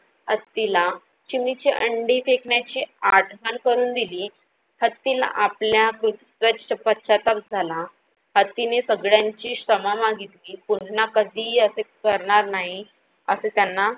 हत्तीला चिमणीची अंडी फेकण्याचे आठवण करून दिली. हत्तीला आपल्या पश्चाताप झाला, हत्तीने सगळ्यांची क्षमा मागितली. पुन्हा कधीही असे करणार नाही असे त्यांना